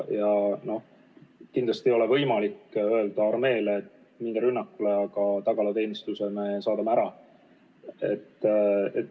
Kindlasti ei ole võimalik öelda armeele, et minge rünnakule, aga tagalateenistuse saadame ära.